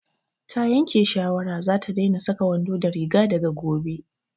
Ta yanke shawara za ta daina saka wando da riga daga gobe